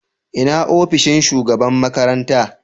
Ina ofishin shugaban makaranta?